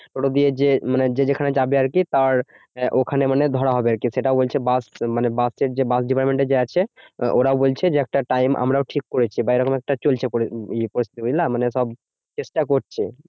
ওটা দিয়ে যেয়ে মানে যে যেখানে যাবে আরকি তার ওখানে মানে ধরা হবে আরকি। সেটা বলছে বাস মানে বাসের যে বাস department এ যে আছে ওরা বলছে যে, একটা time আমরাও ঠিক করেছি বা এইরকম একটা চলছে পরিস্থিতি, বুঝলা? মানে সব চেষ্টা করছে